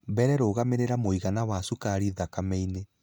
Mbere, rũgamĩrĩra mũigana wa cukari thakameinĩ.